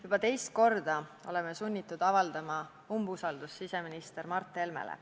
Juba teist korda oleme sunnitud avaldama umbusaldust siseminister Mart Helmele.